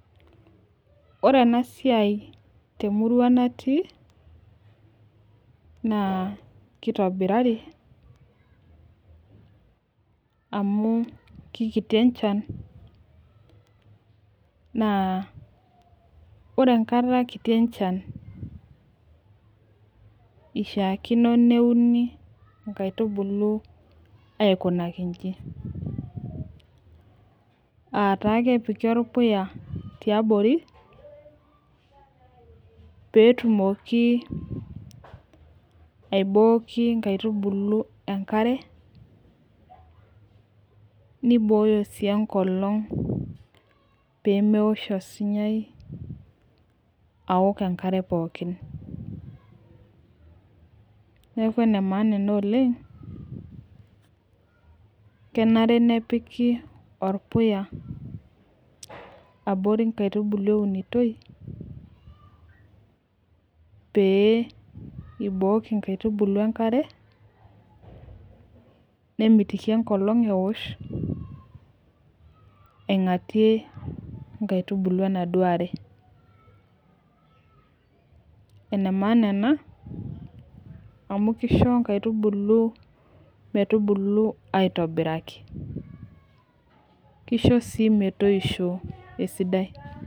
Ore ena siai temurua natii, naa kitobirari amu kikiti enchan, naa ore enkata kiti enchan, ishaakino neuni nkaitubulu aitobiraki, aa taa kepiki orpuya yiabori, peetumoki aibooki nkaitubulu enkare. nibooyo sii enkolong' pee meosh, osunyai, aoko enkare pookin. neeku ene maana ena oleng. kenare nepiki orpuya ,abori nkaitubulu eunitoi, pee ibooki nkaitubulu enkare. nemitiki enkolong' eosh, aingatie, nkaitubulu enaduoo are. ene maana ena amu kishu nkaitubulu metubulu aitobiraki, kisho sii metoosho esidai.